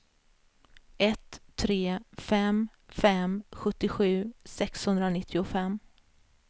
ett tre fem fem sjuttiosju sexhundranittiofem